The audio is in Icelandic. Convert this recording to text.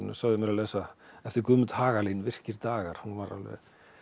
sögðu mér að lesa eftir Guðmund Hagalín virkir dagar hún var alveg